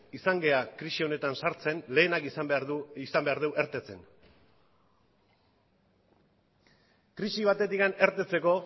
izan gara krisi honetan sartzen lehenak izan behar dugu irteten krisi batetik irteteko